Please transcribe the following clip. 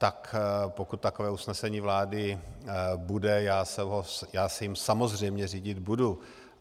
Tak pokud takové usnesení vlády bude, já se jím samozřejmě řídit budu.